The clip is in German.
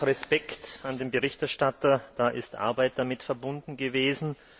Respekt an den Berichterstatter, da ist Arbeit damit verbunden gewesen.